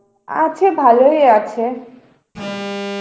আছে ভালোই আছে.